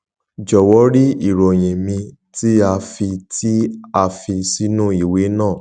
jọwọ rí ìròyìn mi tí a fi tí a fi sínú ìwé náà